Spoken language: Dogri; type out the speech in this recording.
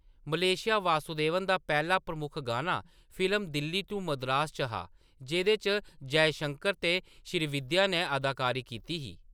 मलेशिया वासुदेवन दा पैह्‌‌ला प्रमुख गाना फिल्म दिल्ली टू मद्रास च हा, जेह्‌‌‌दे च जयशंकर ते श्रीविद्या नै अदाकारी कीती ही।